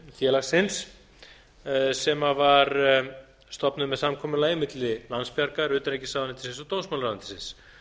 félagsins sem var stofnuð með samkomulagi milli landsbjargar utanríkisráðuneytis og dómsmálaráðuneytis